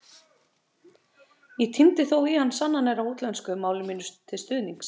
Ég tíndi þó í hann sannanir á útlensku, máli mínu til stuðnings.